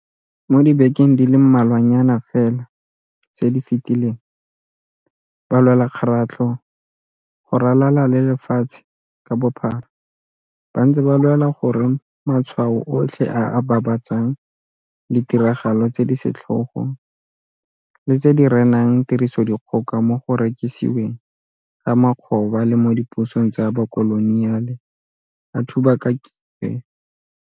Mo dibekeng di le mmalwanyana fela tse di fetileng, balwelakgaratlho go ralala le lefatshe ka bophara ba ntse ba lwela gore matshwao otlhe a a babatsang ditiragalo tse di setlhogo le tse di renang tirisodikgoka mo go rekisiweng ga makgoba le mo dipusong tsa bokoloniale a thubakakiwe.